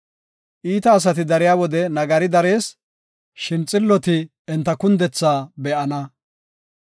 Iita asati dariya wode nagari darees; shin xilloti enta kundethaa be7ana.